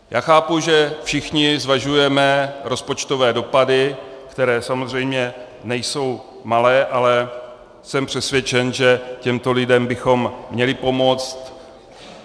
Já chápu, že všichni zvažujeme rozpočtové dopady, které samozřejmě nejsou malé, ale jsem přesvědčen, že těmto lidem bychom měli pomoci.